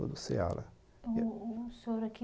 O o senhor aqui